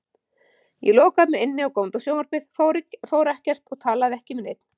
Ég lokaði mig inni og góndi á sjónvarpið, fór ekkert, talaði ekki við neinn.